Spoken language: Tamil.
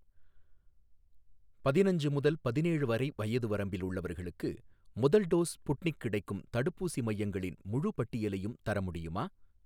பதினஞ்சு முதல் பதினேழு வரை வயது வரம்பில் உள்ளவர்களுக்கு முதல் டோஸ் ஸ்புட்னிக் கிடைக்கும் தடுப்பூசி மையங்களின் முழுப் பட்டியலையும் தர முடியுமா?